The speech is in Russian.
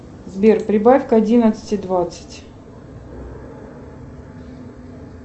сбер прибавь к одиннадцати двадцать